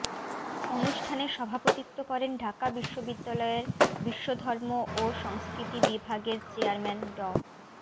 অনুষ্ঠানে সভাপতিত্ব করেন ঢাকা বিশ্ববিদ্যায়ের বিশ্বধর্ম ও সংস্কৃতি বিভাগের চেয়ারম্যান ড